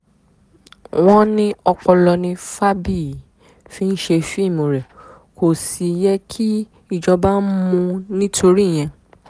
wọ́n ní ọpọlọ ni fábíyì fi ṣe fíìmù rẹ̀ kó sì yẹ kí ìjọba mú un nítorí ìyẹn